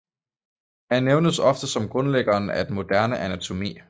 Han nævnes ofte som grundlæggeren af den moderne anatomi